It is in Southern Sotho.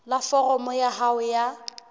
la foromo ya hao ya